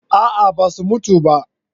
A'a ba su mutu ba